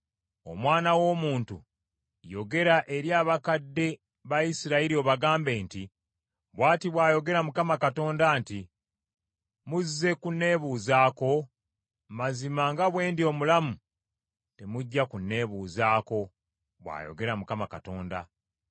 “Omwana w’omuntu, yogera eri abakadde ba Isirayiri obagambe nti, ‘Bw’ati bw’ayogera Mukama Katonda nti: Muzze kunneebuuzaako? Mazima nga bwe ndi omulamu temujja kunneebuuzaako, bw’ayogera Mukama Katonda.’